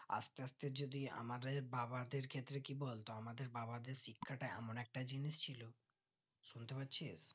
আস্তে আস্তে যদি আমাদের বাবাদের ক্ষেত্রে কি বলতো আমাদের বাবাদের শিক্ষাটা এমন একটা জিনিস ছিল শুনতে পাচ্ছিস